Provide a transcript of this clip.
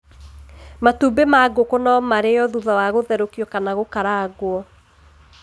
Matumbĩ ma ngũkũ no marĩo thutha wa gũtherũkio kana gũkarangwo.